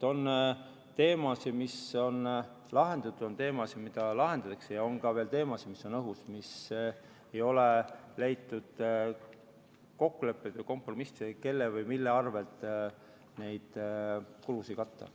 On teemasid, mis on lahendatud, on teemasid, mida lahendatakse, ja on ka veel teemasid, mis on õhus, mis ei ole jõudnud kokkulepete või kompromissideni, kelle või mille arvelt neid kulusid katta.